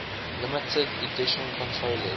limited edition controllers